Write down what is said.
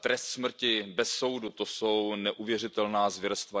trest smrti bez soudu, to jsou neuvěřitelná zvěrstva.